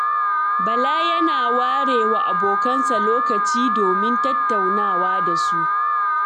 Bala yana ware wa abokansa lokaci domin tattaunawa da su.